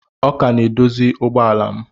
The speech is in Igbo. Ọ ka na-edozi ụgbọ ala m